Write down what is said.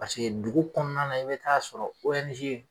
paseke dugu kɔnɔna na i be taa sɔrɔ owɛnize